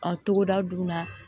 Ɔ togoda dun na